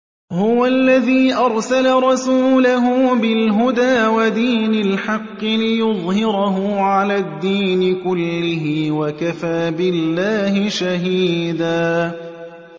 هُوَ الَّذِي أَرْسَلَ رَسُولَهُ بِالْهُدَىٰ وَدِينِ الْحَقِّ لِيُظْهِرَهُ عَلَى الدِّينِ كُلِّهِ ۚ وَكَفَىٰ بِاللَّهِ شَهِيدًا